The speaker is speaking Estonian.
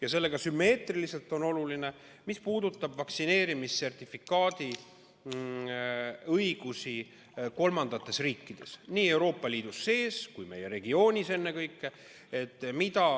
Ja sellega sümmeetriliselt on oluline teema vaktsineerimissertifikaadi antavad õigused teistes riikides, nii kogu Euroopa Liidus kui meie regioonis ennekõike.